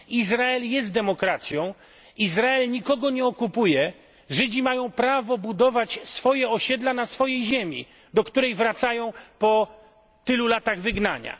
Izrael jest demokracją, Izrael nikogo nie okupuje, Żydzi mają prawo budować swoje osiedla na swojej ziemi, do której wracają po tylu latach wygnania.